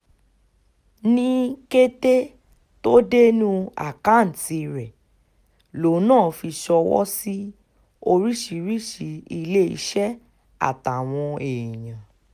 ní kété tó dénú àkáǹtì rẹ̀ lòun náà fi ṣọwọ́ sí oríṣiríṣiì iléeṣẹ́ àtàwọn èèyàn